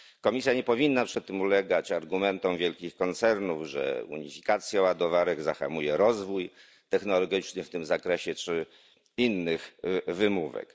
Komisja nie powinna przy tym ulegać argumentom wielkich koncernów, że unifikacja ładowarek zahamuje rozwój technologiczny w tym zakresie, czy innych wymówek.